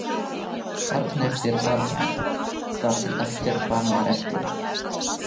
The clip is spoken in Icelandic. Barn eftir barn, þar til ekkert barn var eftir.